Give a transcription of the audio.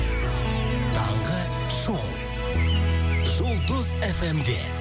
таңғы шоу жұлдыз эф эм де